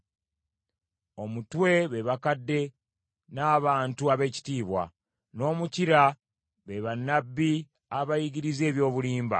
Omutwe be bakadde n’abantu ab’ekitiibwa, n’omukira be bannabbi abayigiriza eby’obulimba.